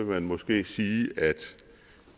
man måske sige at